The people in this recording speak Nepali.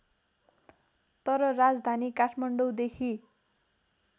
तर राजधानी काठमाडौँदेखि